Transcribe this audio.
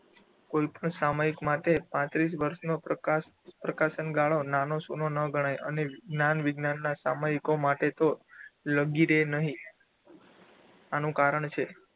કોઈપણ સામાયિક માટે પાત્રીસ વર્ષનો પ્રકાશન ગાળો નાનો સુનો ન ગણાય અને જ્ઞાન વિજ્ઞાનના સામાયિકો માટે તો લગીરે નહીં. આનું કારણ છે.